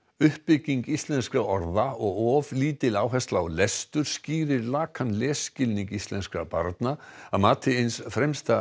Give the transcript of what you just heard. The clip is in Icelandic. uppbygging íslenskra orða og of lítil áhersla á lestur skýrir lakan lesskilning íslenskra barna að mati eins fremsta